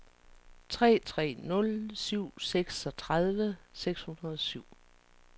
tre tre nul syv seksogtredive seks hundrede og syv